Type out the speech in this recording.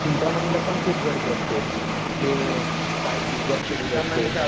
चिंतामणीला पण खूप गर्दी असते. तिथे काय डिजाईन केलेली असते.